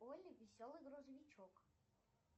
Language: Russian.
олли веселый грузовичок